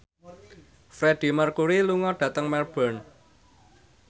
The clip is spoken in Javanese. Freedie Mercury lunga dhateng Melbourne